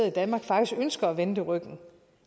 i danmark faktisk ønsker at vende det ryggen